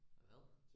Til hvad?